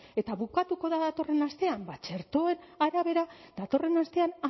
eta bukatuko da datorren astean ba txertoen arabera ba datorren astean